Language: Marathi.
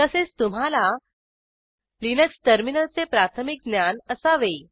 तसेच तुम्हाला लिनक्स टर्मिनलचे प्राथमिक ज्ञान असावे